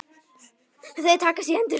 Þau takast í hendur.